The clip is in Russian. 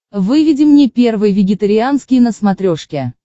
выведи мне первый вегетарианский на смотрешке